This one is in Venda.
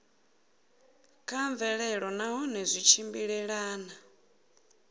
kha mvelelo nahone zwi tshimbilelana